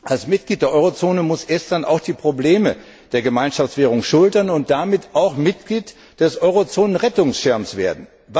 Als Mitglied der Eurozone muss Estland auch die Probleme der Gemeinschaftswährung schultern und damit auch Mitglied des Eurozonen Rettungsschirms werden.